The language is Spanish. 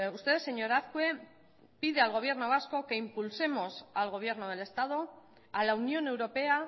usted señor azkue pide al gobierno vasco que impulsemos al gobierno del estado a la unión europea